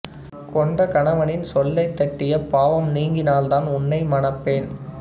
கொண்ட கணவனின் சொல்லைத் தட்டிய பாவம் நீங்கினால்தான் உன்னை மனப்பேன்